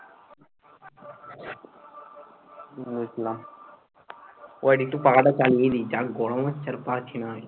বুঝলাম। wait একটু পাখাটা চালিয়ে দি, যা গরম হচ্ছে আর পারছি না আমি।